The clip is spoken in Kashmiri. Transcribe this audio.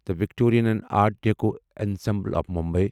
the Victorian and Art Deco ensemble of Mumbai